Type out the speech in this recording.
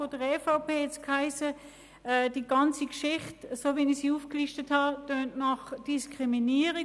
Seitens der EVP hat es geheissen, die ganze Geschichte, so wie ich sie aufgelistet habe, klinge nach Diskriminierung.